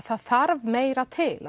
það þarf meira til